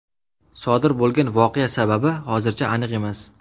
Sodir bo‘lgan voqea sababi hozircha aniq emas.